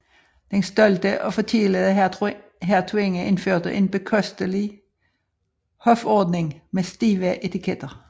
Den stolte og forkælede hertuginde indførte en bekostelig hofordning med stive etiketter